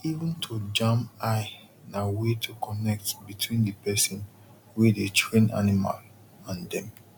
even to jam eye na way to connect between the person wey dey train animal and dem